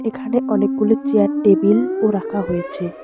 এখানে অনেকগুলো চেয়ার টেবিলও রাখা হয়েছে।